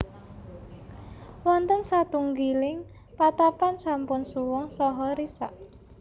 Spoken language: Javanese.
Wonten satunggiling patapan sampun suwung saha risak